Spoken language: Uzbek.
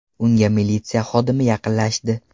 Unga militsiya xodimi yaqinlashdi.